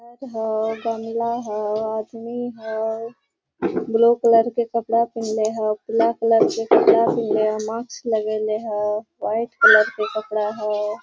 गमला हो आदमी हय ब्लू कलर के कपड़ा पेनलेह हो पीला कलर के कपड़ा पेनलेह हो मास्क लगयले हो वाइट कलर कपड़ा है।